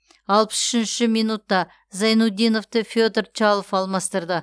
алпыс үшінші минутта зайнутдиновты федор чалов алмастырды